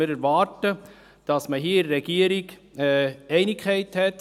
Wir erwarten, dass in der Regierung Einigkeit besteht.